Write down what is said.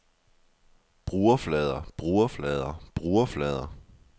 brugerflader brugerflader brugerflader